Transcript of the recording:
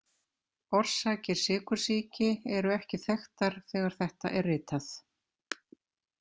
Orsakir sykursýki eru ekki þekktar þegar þetta er ritað.